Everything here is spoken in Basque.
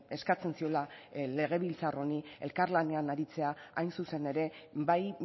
eskatzen ziola legebiltzar honi elkarlanean aritzea hain zuzen ere bai